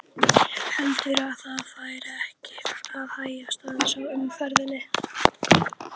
Heldurðu að það fari ekki að hægjast aðeins á umferðinni?